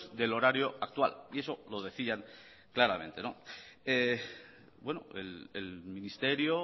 del horario actual y eso lo decían claramente bueno el ministerio